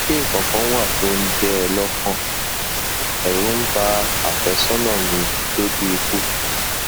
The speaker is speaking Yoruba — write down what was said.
ṣé nǹkan kan wà tó ń jẹ ẹ lọkàn ẹrù ń ba àfẹsọnà mi dójú ikú